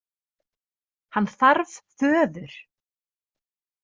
Hann þarf föður.